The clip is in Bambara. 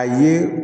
A ye